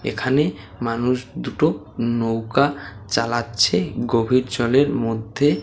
এখানে মানুষ দুটো নৌকা চালাচ্ছে গভীর জলের মধ্যে।